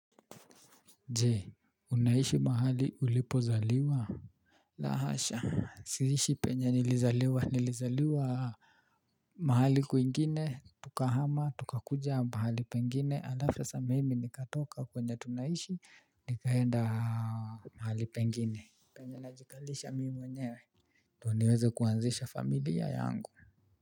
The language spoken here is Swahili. Jee unaishi mahali ulipozaliwa. La hasha siishi penye nilizaliwa nilizaliwa. Mahali kwingine tukahama tukakuja mahali pengine alafu sasa mimi nikatoka kwenye tunaishi nikaenda mahali pengine. Penye najikalisha mimi mwenyewe ndio niweze kuanzisha familia yangu.